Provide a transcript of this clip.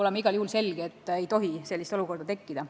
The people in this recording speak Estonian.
On igal juhul selge, et sellist olukorda ei tohi tekkida.